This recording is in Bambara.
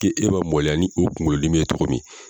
K'e man mɔloya ni o kungolo dimi ye cogo min.